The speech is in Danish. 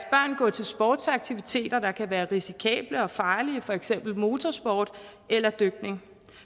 gå til sportsaktiviteter der kan være risikable og farlige for eksempel motorsport eller dykning